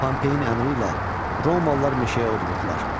Pompeyin əmri ilə romalılar meşəyə od vurdular.